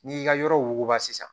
N'i y'i ka yɔrɔba sisan